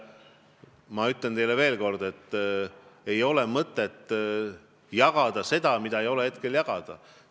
Ma ütlen teile veel kord, et ei ole mõtet jagada seda, mida ei saa hetkel jagada.